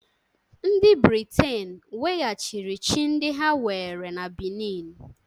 Ndị Briten weghachiri chi ndị ha were na Benin